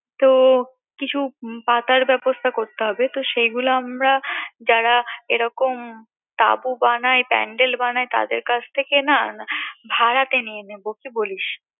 তো কিছু পাতার ব্যবস্থা করতে হবে যেগুলো আমরা যারা এরকম তাবু বানাই pandel বানায় তাদের কাছ থেকে না ভাড়াতে নিয়ে নেবো কি বলিস